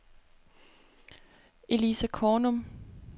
Elisa Kornum